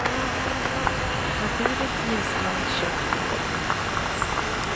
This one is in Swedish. Naturligt ljusblont, tjockt och vågigt.